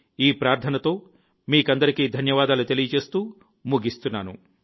ఈ ప్రార్థనతో మీకందరికీ ధన్యవాదాలు తెలియజేస్తూ ముగిస్తున్నాను